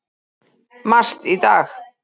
MAST í dag.